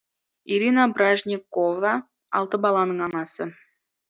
ирина бражникова алты баланың анасы